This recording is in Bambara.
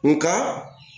Nka